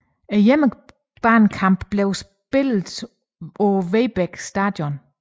Hjemmebanekampene blev spillet på Vedbæk Stadion